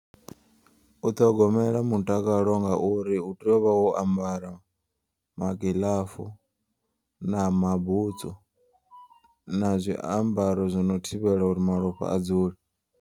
U ṱhogomela mutakalo ngauri utea uvha wo ambara magiḽafu na mabutswu na zwiambaro zwino thivhela uri malofha adzule.